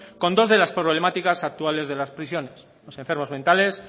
con dos de las problemáticas actuales de las prisiones los enfermos mentales